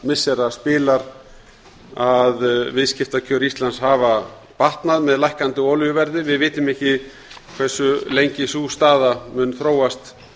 missira spilar að viðskiptakjör íslands hafa batnað með lækkandi olíuverði við vitum ekki hversu lengi sú staða mun þróast